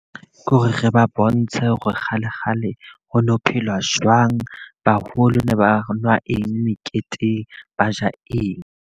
Ke hore re ba bontshe hore kgale kgale ho no phelwa jwang. Baholo ne ba nwa eng meketeng, ba ja eng.